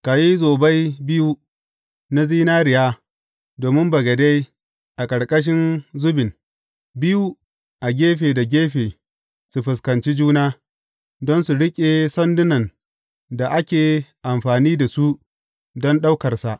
Ka yi zobai biyu na zinariya domin bagade a ƙarƙashin zubin, biyu a gefe da gefe su fuskanci juna, don su riƙe sandunan da ake amfani da su don ɗaukarsa.